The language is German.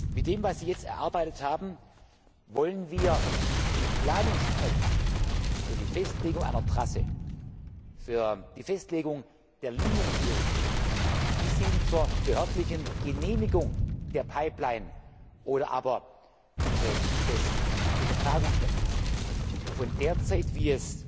Mit dem, was Sie jetzt erarbeitet haben, wollen wir die Planungszeit für die Festlegung einer Trasse, für die Festlegung der Linienführung bis hin zur behördlichen Genehmigung der Pipeline oder aber des Übertragungsnetzes von derzeit wie